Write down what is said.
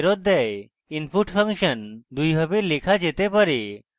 input function দুইভাবে লেখা যেতে পারে: